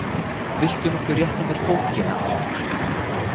Viltu nokkuð rétta mér bókina aftur?